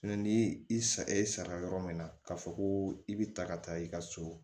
ni i sa e sara yɔrɔ min na k'a fɔ ko i bi ta ka taa i ka so